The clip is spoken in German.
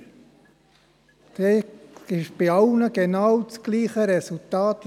In der Kommission gab es zu allen Absätzen das genau gleiche Resultat.